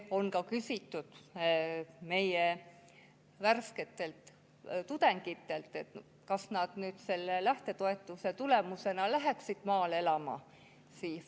Samuti on küsitud meie värsketelt tudengitelt, kas nad lähtetoetuse tõttu läheksid maale elama.